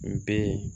N be yen